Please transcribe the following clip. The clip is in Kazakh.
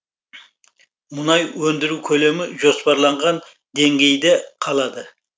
мұнай өндіру көлемі жоспарланған деңгейде қалады